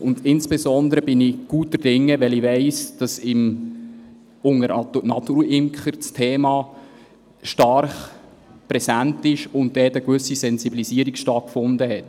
Ich bin insbesondere guter Dinge, weil ich weiss, dass unter Naturimkern das Thema stark präsent ist und dort eine gewisse Sensibilisierung stattgefunden hat.